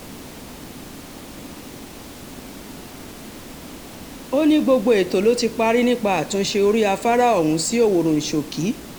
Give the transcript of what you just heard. ó ní gbogbo ètò ló ti parí nípa àtúnṣe orí afárá ọ̀hún sí ọwọ́runṣókí